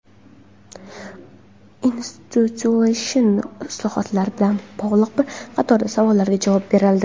institutsional islohotlar bilan bog‘liq bir qator savollariga javob berildi.